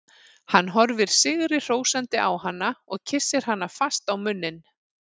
Hann horfir sigri hrósandi á hana og kyssir hana fast á munninn.